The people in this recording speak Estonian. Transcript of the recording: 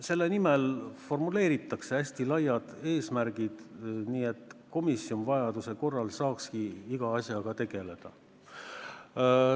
Selle pärast formuleeritaksegi hästi laiad eesmärgid, et komisjon vajaduse korral saaks iga asjaga tegeleda.